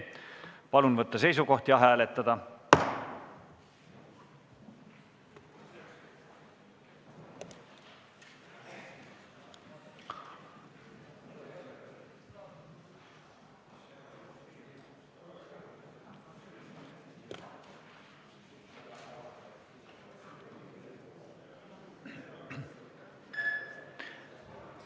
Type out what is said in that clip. Palun võtta seisukoht ja hääletada!